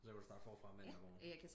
Og så kan du starte forfra mandag morgen